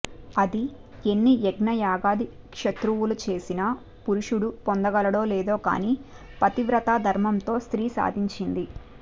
అది ఎన్ని యజ్ఞయాగాది క్రతువులు చేసినా పురుషుడు పొందగలడో లేదో కానీ పతివ్రతాధర్మంతో స్త్రీ సాధించింది